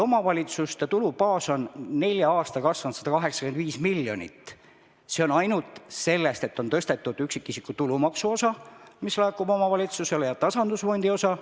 Omavalitsuste tulubaas on nelja aastaga kasvanud 185 miljonit – seda tänu sellele, et on tõstetud üksikisiku tulumaksu osa, mis laekub omavalitsustele, ja suurendatud tasandusfondi osa.